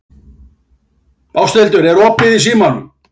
Ásthildur, er opið í Símanum?